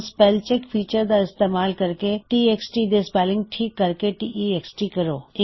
ਹੁਣ spell check feature ਦਾ ਇਸਤੇਮਾਲ ਕਰਕੇ ਟੀਐਕਸਟੀ ਦੇ ਸਪੈੱਲਿੰਗ ਠੀਕ ਕਰਕੇ ਟੈਕਸਟ ਕਰੋ